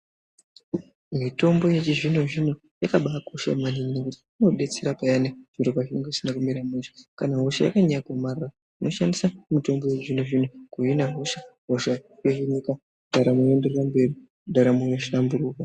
Mitombo yechizvino zvino yakabaakosha maningi ngekuti inobetsera payani zviro pazvinenge zvisina kumira mushe. Kana hosha yakanyanya kumara unoshandise mitombo yechizvino zvino kuhina hosha, hosha yohinika ndaramo yenderera mberi ndaramo yohlamburuka.